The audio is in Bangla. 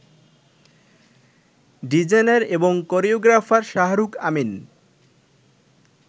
ডিজাইনার এবং কোরিওগ্রাফার শাহরুখ আমিন